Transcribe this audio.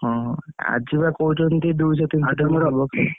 ହଁ ଆଜିବା କହୁଛନ୍ତି ଦୁଇଶ ତିନିଶ ।